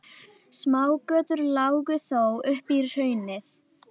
Hugdís, mun rigna í dag?